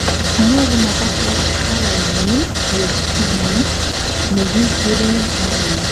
nyoru makatet calainyin koyop pigment nekikuren melanin